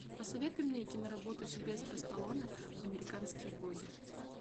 посоветуй мне киноработу сильвестра сталлоне американские боги